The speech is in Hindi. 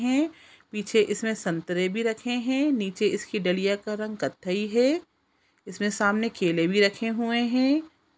है पीछे इसमे संतरे भी रखें है नीचे इसकी डलिया का रंग कत्थई है इसमें सामने केले भी रखें हुए है।